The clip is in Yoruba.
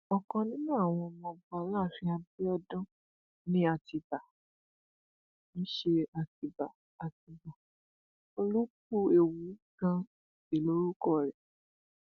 ọkan nínú àwọn ọmọọba aláàfin abiodun ni atibá ń ṣe àtibá àtibá olúkúewu ganan sí lórúkọ rẹ